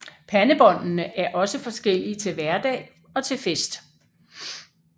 Pandebåndene er også forskellige til hverdag og til fest